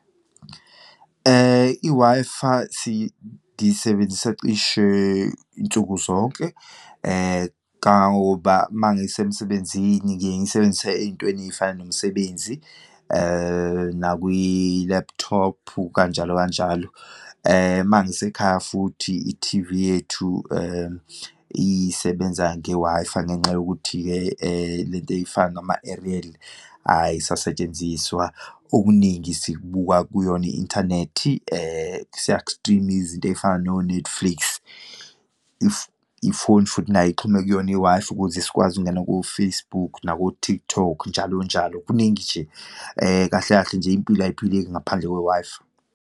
I-Wi-Fi ngiyisebenzisa cishe nsuku zonke, kangangoba uma ngisemsebenzini ngiyengiyisebenzise eyintweni eyifana nemsebenzi, nakwi-laptop, kanjalo kanjalo. Uma ngisekhaya futhi, ithivi yethu isebenza nge-Wi-Fi, ngenxa yokuthi-ke lento eyifana nama-aerial ayisetshenziswa, okuningi sibuka kuyona i-inthanethi, siyaku-stream-a izinto eyifana no-Netflix. Ifoni futhi nayo ixhume kuyona i-Wi-Fi ukuze sikwazi ukungena ko-Facebook, nako-TikTok, njalo njalo, kuningi nje. Kahle kahle nje impilo ayiphileki ngaphandle kwe-Wi-Fi.